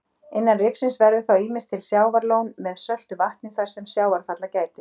Innan rifsins verður þá ýmist til sjávarlón með söltu vatni þar sem sjávarfalla gætir.